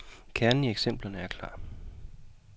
Kernen i eksemplerne er klar.